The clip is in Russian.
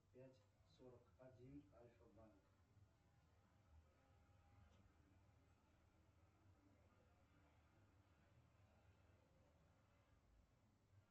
пять сорок один альфа банк